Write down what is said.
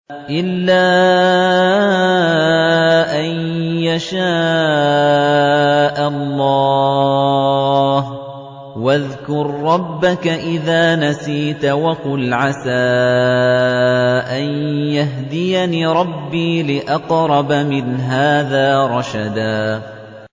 إِلَّا أَن يَشَاءَ اللَّهُ ۚ وَاذْكُر رَّبَّكَ إِذَا نَسِيتَ وَقُلْ عَسَىٰ أَن يَهْدِيَنِ رَبِّي لِأَقْرَبَ مِنْ هَٰذَا رَشَدًا